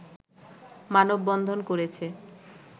মানববন্ধন করেছে